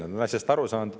Nad on asjast aru saanud.